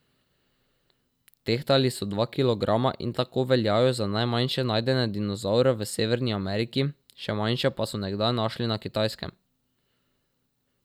Tehtali so dva kilograma in tako veljajo za najmanjše najdene dinozavre v Severni Ameriki, še manjše pa so nekdaj našli na Kitajskem.